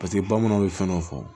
Paseke bamananw bɛ fɛn dɔ fɔ